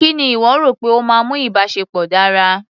Kí ni ìwọ rò pé ó máa ń mú ìbáṣepọ̀ dára?